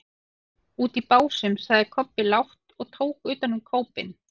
Úti í Básum, sagði Kobbi lágt og tók utan um kópinn.